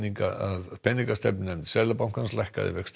að peningastefnunefnd Seðlabankans lækkaði vexti